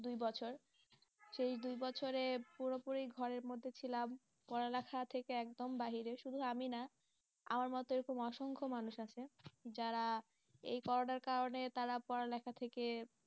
দুই বছর সেই দুই বছরে পুরোপুরি ঘরের মধ্যে ছিলাম, পড়ালেখা থেকে একদম বাহিরে, শুধু আমি না আমার মতো এরকম অসংখ্য মানুষ আছে, যারা এই করোনার কারণে তারা পড়ালেখা থেকে